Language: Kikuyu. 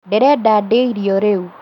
Ndĩrenda ndĩe irio rĩu